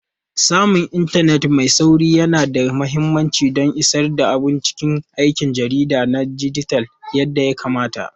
Samun intanet mai sauri yana da mahimmanci don isar da abun cikin aikin jarida na dijital yadda ya kamata.